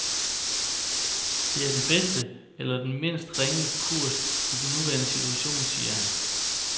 Det er den bedste, eller den mindst ringe, kurs i den nuværende situation, siger han.